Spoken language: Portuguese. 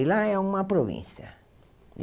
E lá é uma província.